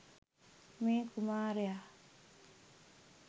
මේ කුමාරයා